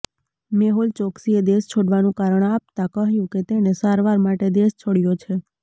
મેહુલ ચોકસીએ દેશ છોડવાનું કારણ આપતા કહ્યું કે તેણે સારવાર માટે દેશ છોડ્યો છે